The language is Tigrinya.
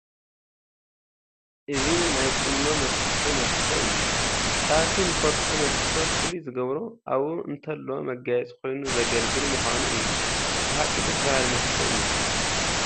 እዚ ናይ ቁኖ መፍትሒ መስፈ እዩ፡፡ ካብቲ ንፈልጦ መስፈ ፍሉይ ዝገብሮ ኣብኡ ንተሎ መጋየፂ ኮይኑ ዘግልግል ምዃኑ እዩ፡፡ ብሓቂ ደስ በሃሊ መስፈ እዩ፡፡